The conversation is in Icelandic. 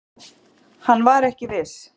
Hann var ekki viss.